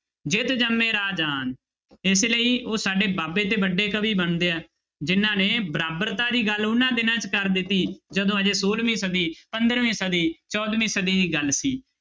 ਜਿਤੁ ਜੰਮਹਿ ਰਾਜਾਨ ਇਸ ਲਈ ਉਹ ਸਾਡੇ ਬਾਬੇ ਤੇ ਵੱਡੇ ਕਵੀ ਬਣਦੇ ਹੈ ਜਿਹਨਾਂ ਨੇ ਬਰਾਬਰਤਾ ਦੀ ਗੱਲ ਉਹਨਾਂ ਦਿਨਾਂ 'ਚ ਕਰ ਦਿੱਤੀ ਜਦੋਂ ਹਜੇ ਛੋਲਵੀਂ ਸਦੀ, ਪੰਦਰਵੀਂ ਸਦੀ, ਚੌਦਵੀਂ ਸਦੀ ਦੀ ਗੱਲ ਸੀ।